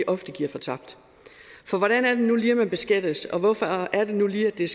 ofte giver fortabt for hvordan er det nu lige man beskattes hvorfor er det nu lige at det er